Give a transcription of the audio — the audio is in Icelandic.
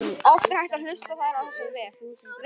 Oft er hægt að hlusta á þær á þessum vef.